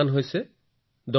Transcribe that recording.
লাখ নিযুত আৰু কোটি